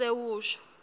asewusho